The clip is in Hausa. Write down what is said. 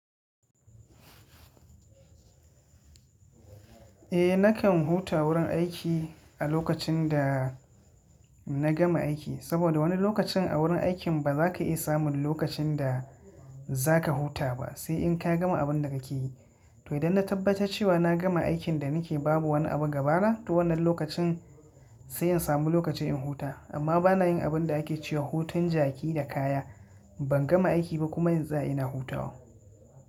Eh nakan huta wurin aiki a lokacin da na gama aiki saboda wani lokacin a wurin aikin ba za ka iya samun lokacin da za ka huta ba sai in ka gama abun da ka yi. To idan na tabbata cewa na gama aikin da ni ke babu wani abu gaba na to wannan lokacin sai in samu lokaci in huta. Amma bana yin abun da ake cewa hutun jaki da kaya, ban gama aiki ba kuma zan ina hutawa.